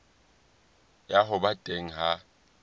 ya ho ba teng ha